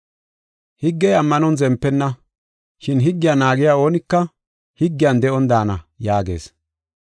Higgey ammanon zempenna. Shin, “Higgiya naagiya oonika higgiyan de7on daana” yaagees.